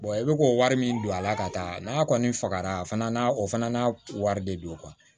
i bɛ k'o wari min don a la ka taa n'a kɔni fagara a fana na o fana na wari de don